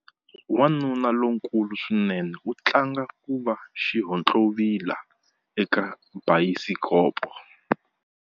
Wanuna lonkulu swinene u tlanga ku va xihontlovila eka bayisikopo.